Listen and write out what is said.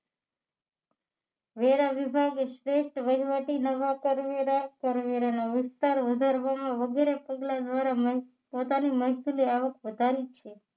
વેરા વિભાગે straight વહીવટી નવા કરવેરા કરવેરાનો વિસ્તાર વધારવામાં વગેરે પગલા દ્વારા પોતાની મહેસુલી આવક વધારી છે